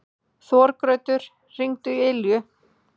Þorgautur, hringdu í Ylju.